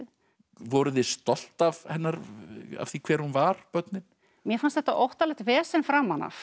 voruð þið stolt af af því hver hún var börnin mér fannst þetta óttalegt vesen framan af